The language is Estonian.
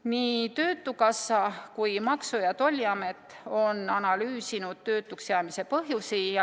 Nii töötukassa kui Maksu- ja Tolliamet on analüüsinud töötuks jäämise põhjusi.